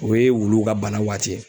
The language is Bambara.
O ye wuluw ka bana waati ye.